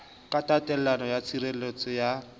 ka taelo ya tshireletso ya